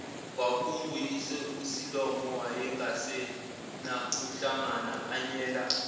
kwakunguyise usilomo wayengasenakuhlanganyela